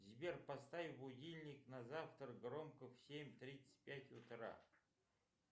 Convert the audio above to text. сбер поставь будильник на завтра громко в семь тридцать пять утра